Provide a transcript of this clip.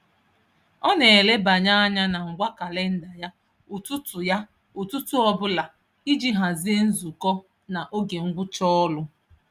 Ọ na-elebanye anya na ngwa kalịnda ya ụtụtụ ya ụtụtụ ọbụla iji hazie nzukọ na oge ngwụcha ọrụ.